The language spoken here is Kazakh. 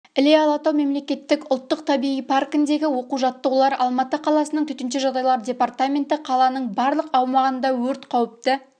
іле-алатау мемлекеттік ұлттық табиғи паркіндегі оқу-жаттығулар алматы қаласының төтенше жағдайлар департаменті қаланың барлық аумағында өрт қауіпті